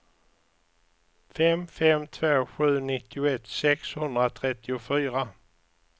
fem fem två sju nittioett sexhundratrettiofyra